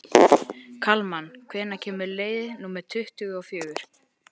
Kalman, hvenær kemur leið númer tuttugu og fjögur?